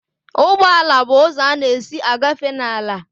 Ụgbọ ala bụ ụzọ a na-esi agafe n'ala